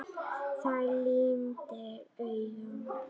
Það lygndi augum.